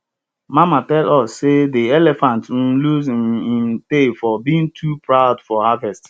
mama tell us seyde elephant um lose um im tail for being too proud for harvest